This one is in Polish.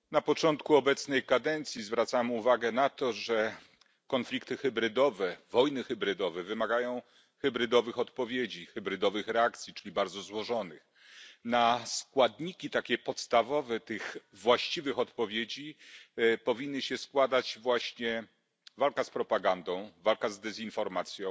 Panie Przewodniczący! Na początku obecnej kadencji zwracałem uwagę na to, że konflikty hybrydowe, wojny hybrydowe wymagają hybrydowych odpowiedzi, hybrydowych reakcji, czyli bardzo złożonych. Na składniki takie podstawowe tych właściwych odpowiedzi powinny się składać właśnie walka z propagandą, walka z dezinformacją,